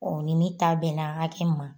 ni ne ta bɛnna hakɛ min ma